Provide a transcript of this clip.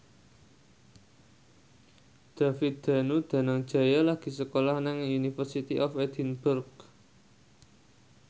David Danu Danangjaya lagi sekolah nang University of Edinburgh